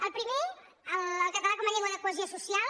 el primer el català com a llengua de cohesió social